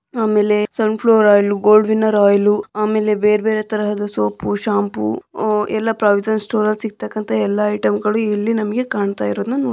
ಆಮೇಲೆ sunflower oil gold winner oil ಆಮೇಲೆ ಬೇರ್ಬೇರೆ ತರಹದ ಸೋಪು ಶಾಂಪು ಅಹ್ ಎಲ್ಲ ಪ್ರಾವಿಷನ್ ಸ್ಟೋರ್ ಅಲ್ಲಿ ಸಿಕ್ತಂಕತ ಎಲ್ಲ ಐಟಮ್‌ ಗಳು ಇಲ್ಲಿ ನಮಗೆ ಕಾಣ್ತಾಇರೋದನ್ನ ನೋಡ್.